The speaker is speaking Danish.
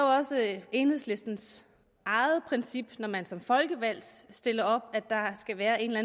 også enhedslistens eget princip når man som folkevalgt stiller op at der skal være en eller